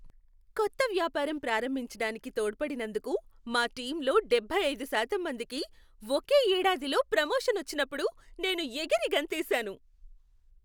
కొత్త వ్యాపారం ప్రారంభించడానికి తోడ్పడినందుకు మా టీంలో డెబ్బై అయిదు శాతం మందికి ఒకే ఏడాదిలో ప్రొమోషన్ వచ్చినప్పుడు నేను ఎగిరి గంతేసాను.